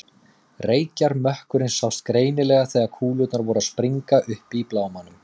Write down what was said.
Reykjarmökkurinn sást greinilega þegar kúlurnar voru að springa uppi í blámanum.